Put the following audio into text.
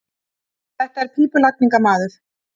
Þetta er pípulagningamaður.